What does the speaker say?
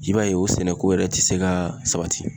I b'a ye o sɛnɛko yɛrɛ ti se ka sabati.